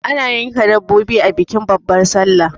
ana yanka dabbobi a bikin babbar sallah